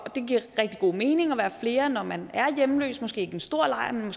giver rigtig god mening at være flere når man er hjemløs måske ikke en stor lejr men